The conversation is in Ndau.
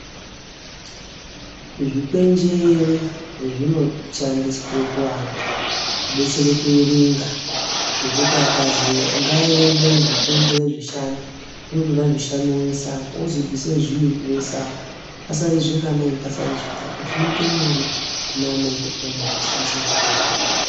Zvikwenjere zvinoshandiswe kuana kudetsere kuerenga ngekuti akazi ngaarenge zvikwenjere zvishanu unotore zvishanu ozviisa apa ozi bvide zviiri oise apa pasare zvinganai pasare zvitatu zvinoite nyore kuneana ekupuraimari weishandise zvikwenjere.